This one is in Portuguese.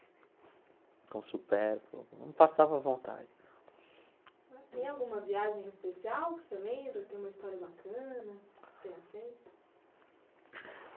com supérfluo, não passava vontade. Tem alguma viagem especial que você lembra, que tem uma história bacana que você tenha feito?